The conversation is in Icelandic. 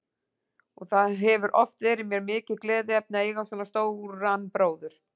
Og það hefur oft verið mér mikið gleðiefni að eiga svona stóra bróður.